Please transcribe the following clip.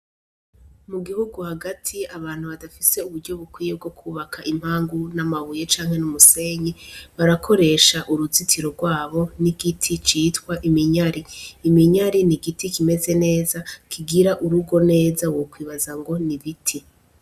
Mu gihugu hagati abantu badafise uburyo bukwiye bwo kubaka impangu n'amabuye canke n'umusenyi, barakoresha uruzitiro rwabo n'igiti citwa iminyari, iminyari n'igiti kimeze neza kigira urugo neza wokwibaza ngo n'ibiti.